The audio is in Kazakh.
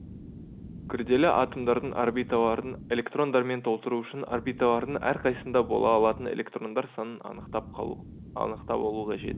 күрделі атомдардың орбитальдарын электрондармен толтыру үшін орбитальдардың әрқайсысында бола алатын электрондар санын анықтап алу қажет